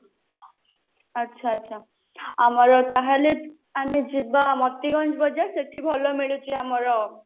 ଆଚ୍ଛା ଆଚ୍ଛା ଆମର ତାହାଲେ ଆମେ ଯିବା ବଜାର ସେଠି ଭଲ ମିଳୁଛି ଆମର